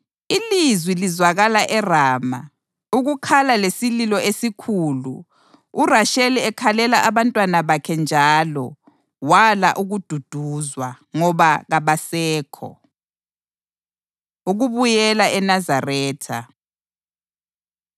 “Ilizwi lizwakala eRama, ukukhala lesililo esikhulu, uRasheli ekhalela abantwana bakhe njalo wala ukududuzwa, ngoba kabasekho.” + 2.18 UJeremiya 31.15 Ukubuyela ENazaretha